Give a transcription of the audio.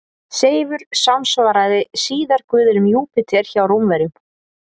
Seifur samsvaraði síðar guðinum Júpíter hjá Rómverjum.